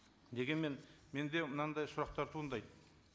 дегенмен менде мынандай сұрақтар туындайды